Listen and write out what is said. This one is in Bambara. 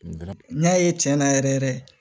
N y'a ye tiɲɛ na yɛrɛ yɛrɛ